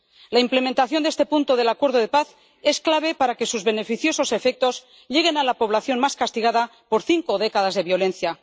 La implementación de este punto del acuerdo de paz es clave para que sus beneficiosos efectos lleguen a la población más castigada por cinco décadas de violencia.